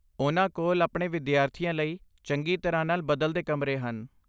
ਉਨ੍ਹਾਂ ਕੋਲ ਆਪਣੇ ਵਿਦਿਆਰਥੀਆਂ ਲਈ ਚੰਗੀ ਤਰ੍ਹਾਂ ਨਾਲ ਬਦਲਦੇ ਕਮਰੇ ਹਨ।